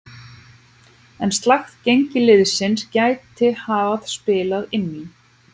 En slakt gengi liðsins gæti hafa spilað inn í.